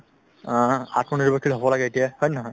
অ, আত্মনিৰ্ভৰশীল হ'ব লাগে এতিয়া হয় নে নহয় ?